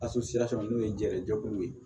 n'o ye jɛngɛ jɛkuluw ye